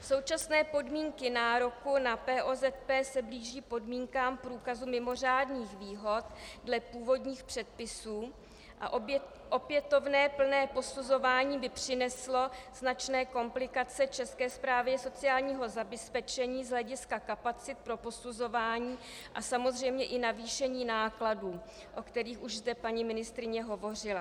Současné podmínky nároku na POZP se blíží podmínkám průkazu mimořádných výhod dle původních předpisů a opětovné plné posuzování by přineslo značné komplikace České správě sociálního zabezpečení z hlediska kapacit pro posuzování a samozřejmě i navýšení nákladů, o kterých už zde paní ministryně hovořila.